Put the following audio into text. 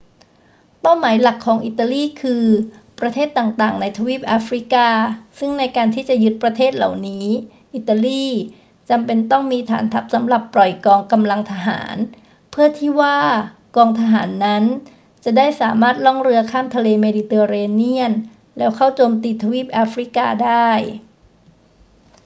เป้าหมายหลักของอิตาลีคือประเทศต่าง ๆ ในทวีปแอฟริกา ซึ่งในการที่จะยึดประเทศเหล่านี้ อิตาลีจำเป็นต้องมีฐานทัพสำหรับปล่อยกองกำลังทหาร เพื่อที่ว่ากองทหารนั้นจะได้สามารถล่องเรือข้ามทะเลเมดิเตอร์เรเนียนแล้วเข้าโจมตีทวีปแอฟริกาได้